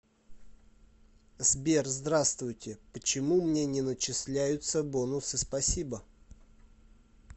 сбер здравствуйте почему мне не начесляются бонусы спасибо